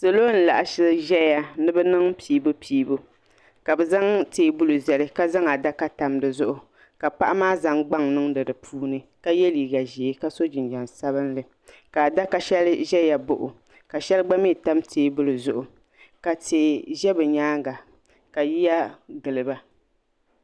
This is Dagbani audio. salo n laɣisi zaya ni bi niŋ Piibupiibu kabi zaŋ teebuli zali ka zaŋ adaka tam di zuɣu ka paɣa maa zaŋ gbaŋ niŋdi di puuni ka yɛ liga ʒiɛ ka so jinjam sabinli ka adaka shɛli zaya baɣa o ka shɛli gba mi tam teebuli zuɣu ka tihi ʒɛ bi nyaanga ka yiya giliba.